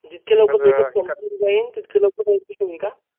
जितक्या लवकर MAke up hour संपून जाईल तितक्या लवकर Registration होईल का